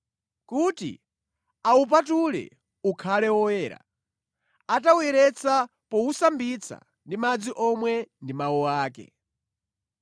kuti awupatule ukhale oyera, atawuyeretsa powusambitsa ndi madzi omwe ndi mawu ake.